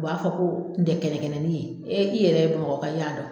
U b'a fɔ ko n tɛ kɛnɛkɛnɛ nin ye e i yɛrɛ ye BAMAKƆKA e y'a dɔn.